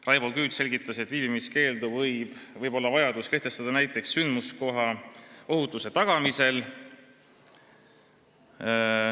Raivo Küüt selgitas, et viibimiskeeldu võib olla vaja kehtestada näiteks sündmuskoha ohutuse tagamisel.